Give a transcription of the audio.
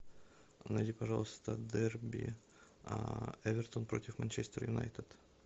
найди пожалуйста дерби эвертон против манчестер юнайтед